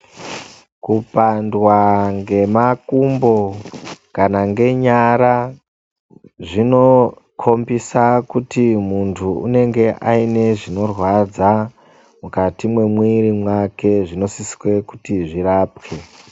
Kupandwa ngemakumbo kana ngenyara zvino kombisa kuti mundu unenge aine zvino rwadza mukati me mwiri mwake zvino sise kuti zvirapwe.